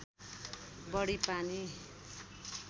बढी पानी